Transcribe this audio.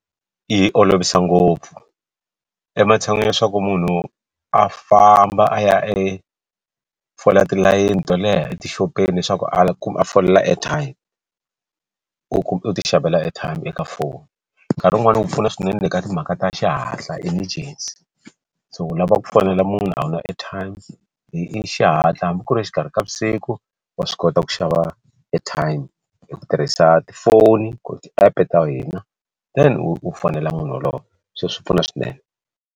Yi olovisa ngopfu ematshan'wini ya leswaku munhu a famba a ya e fola tilayeni to leha etixopeni leswaku a folela airtime u ti xavela airtime eka foni nkarhi wun'wani wu pfuna swinene ka timhaka ta xihatla emergency so u lava ku fonela munhu a wu na airtime leyi i xihatla hambi ku ri exikarhi ka vusiku wa swi kota ku xava airtime hi ku tirhisa tifoni ku ti app ta hina then u fonela munhu wolowo so swi pfuna swinene.